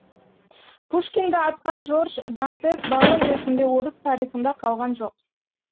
пушкинді атқан жорж дантес барон ретінде орыс тарихында қалған жоқ